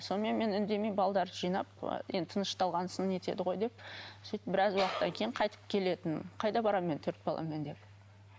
сонымен мен үндемей балдарды жинап енді тынышталған соң нетеді ғой деп сөйтіп біраз уақыттан кейін қайтып келетінмін қайда барамын мен төрт баламен деп